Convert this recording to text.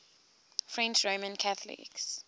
french roman catholics